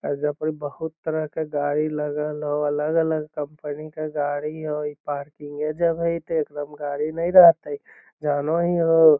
ऐजा पड़ी बहुत तरह के गाडी लगल हो अलग अलग कंपनी के गाडी हो | इ पार्किंग ए जब हई त एकरा में गाडी नहीं रहित हई जानो ही हो |